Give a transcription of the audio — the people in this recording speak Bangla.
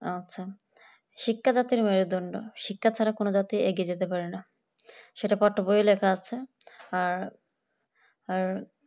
আচ্ছা শিক্ষা জাতির মেরুদন্ড শিক্ষা ছাড়া কোনো জাতি এগিয়ে যেতে পারে না সেটা পঠ বইয়ে লেখা আছে আর আর